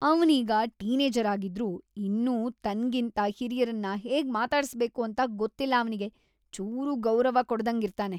ಅವ್ನೀಗ teenager ಆಗಿದ್ರೂ ಇನ್ನೂ ತನ್ಗಿಂತ ಹಿರಿಯರನ್ನ ಹೇಗ್‌ ಮಾತಾಡ್ಸ್‌ಬೇಕು ಅಂತ ಗೊತ್ತಿಲ್ಲ ಅವ್ನಿಗೆ. ಚೂರೂ ಗೌರವ ಕೊಡ್ದಂಗಿರ್ತಾನೆ.